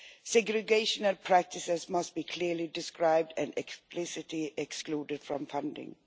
Segregational practices must be clearly described and explicitly excluded from funding.